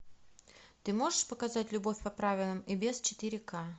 ты можешь показать любовь по правилам и без четыре к